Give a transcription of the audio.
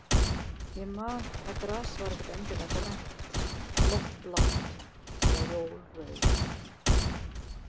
Ég man að gras var ekkert endilega grænt, loft blátt eða jól rautt.